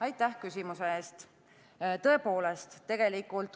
Aitäh küsimuse eest!